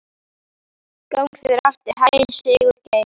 Gangi þér allt í haginn, Sigurgeir.